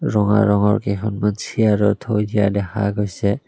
ৰঙা ৰঙৰ কেইখনমান চিয়াৰো থৈ দিয়া দেখা গৈছে।